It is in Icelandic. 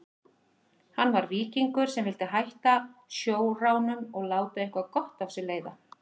Hann var víkingur sem vildi hætta sjóránum og láta eitthvað gott af sér leiða.